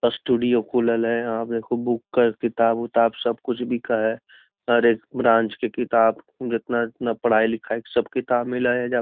studio खुलल है यहाँ पर बुक किताब उताब सब कुछ बीक हे हर एक ब्रांच की किताब जितना जितना पढ़ाई लिखाई सब किताब मिला हई ऐजा --